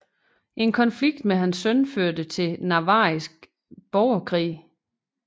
En konflikt med hans søn førte til Navarriske borgerkrig